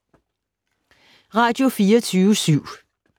Radio24syv